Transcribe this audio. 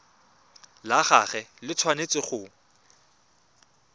la gagwe le tshwanetse go